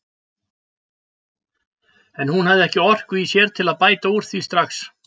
En hún hafði ekki orku í sér til að bæta úr því strax.